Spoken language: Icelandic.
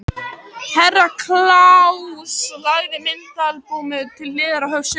Herra Kláus lagði myndaalbúmið til hliðar og hóf söguna.